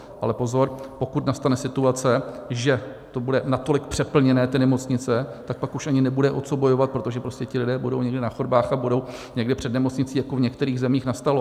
Ale pozor, pokud nastane situace, že to bude natolik přeplněné, ty nemocnice, tak pak už ani nebude o co bojovat, protože prostě ti lidé budou někde na chodbách a budou někde před nemocnicí, jako v některých zemích nastalo.